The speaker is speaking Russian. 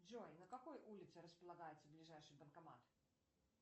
джой на какой улице располагается ближайший банкомат